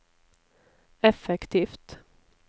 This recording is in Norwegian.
effektivt